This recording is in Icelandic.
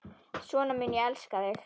Svona mun ég elska þig.